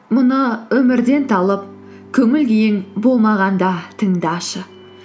мына өмірден талып көңіл күйің болмағанда тыңдашы